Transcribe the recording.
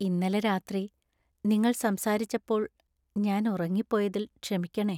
ഇന്നലെ രാത്രി നിങ്ങൾ സംസാരിച്ചപ്പോൾ ഞാൻ ഉറങ്ങിപ്പോയതിൽ ക്ഷമിക്കണേ.